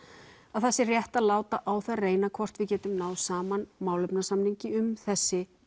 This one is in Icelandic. að það sé rétt að láta á það reyna hvort við getum náð saman málefnasamningi um þessi